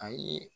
Ayi